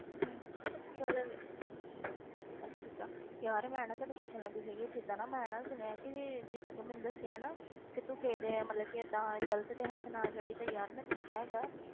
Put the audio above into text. ਹਮ ਤੇ ਅਗਰ ਅੱਛਾ ਅੱਛਾ, ਯਾਰ ਮੈਂ ਨਾ ਤੈਨੂੰ ਪੁੱਛਣ ਲੱਗੀ ਸੀਗੀ, ਜਿੱਦਾਂ ਨਾ ਮੈਂ ਨਾ ਸੁਣਿਆ ਕਿ ਜਿੱਦਾਂ ਤੂੰ ਮੈਨੂੰ ਦੱਸਿਆ ਹੈ ਨਾ ਕਿ ਤੂੰ ਕਿਸੇ ਦੇ ਮਤਲਬ ਕਿ ਏਦਾਂ ਗ਼ਲਤ ਦੇ ਹੱਥ ਨਾ ਚੜ੍ਹੀ ਤੇ ਯਾਰ ਮੈਂ ਦੇਖਿਆ ਹੈਗਾ ਹੈ,